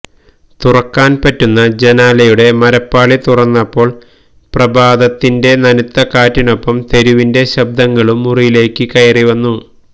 തുറക്കാന് പറ്റുന്ന ജനാലയുടെ മരപ്പാളി തുറന്നപ്പോള് പ്രഭാതത്തിന്റെ നനുത്ത കാറ്റിനൊപ്പം തെരുവിന്റെ ശബ്ദങ്ങളും മുറിയിലേക്ക് കയറി വന്നു